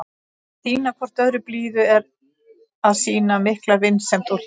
Að sýna hvort öðru blíðu er að sýna mikla vinsemd og hlýju.